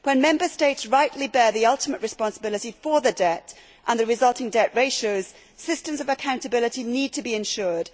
When Member States rightly bear the ultimate responsibility for the debt and the resulting debt ratios, systems of accountability need to be ensured.